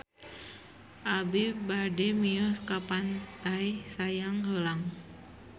Abi bade mios ka Pantai Sayang Heulang